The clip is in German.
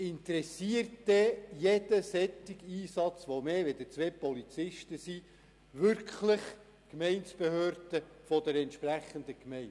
Interessiert denn wirklich jeder der Einsätze, an denen mehr als zwei Polizisten beteiligt sind, die Gemeindebehörden der entsprechenden Gemeinde?